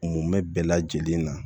Mun bɛ bɛɛ lajɛlen na